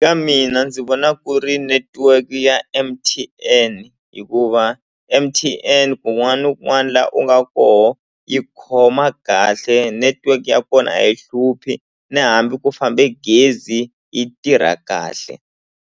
Ka mina ndzi vona ku ri netiweke ya M_T_N hikuva M_T_N kun'wana na kun'wana la u nga koho yi khoma kahle network ya kona a yi hluphi na hambi ku fambe gezi yi tirha kahle.